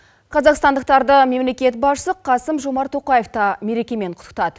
қазақстандықтарды мемлекет басшысы қасым жомарт тоқаевта мерекемен құттықтады